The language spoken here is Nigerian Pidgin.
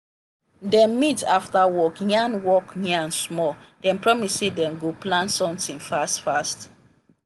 dem meet after work yarn work yarn small dem promise say dem go plan sometin fast fast.